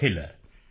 ਅਖਿਲ ਹੈ